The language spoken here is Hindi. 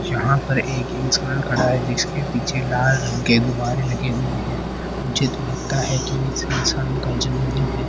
जहां पर एक इंसान खड़ा है जिसके पीछे लाल रंग के गुब्बारे लगे है मुझे तो लगता है इस इंसान का जन्मदिन है।